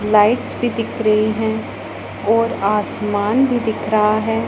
Lights भी दिख रही हैं और आसमान भी दिख रहा है।